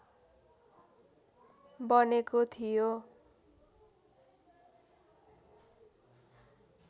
बनेको थियो